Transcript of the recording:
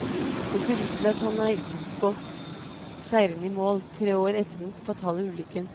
Det ser ut til at han er gått seirende i mål, tre år etter den fatale ulykken.